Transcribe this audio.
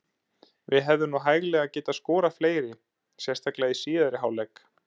Við hefðum nú hæglega getað skorað fleiri, sérstaklega í síðari hálfleik.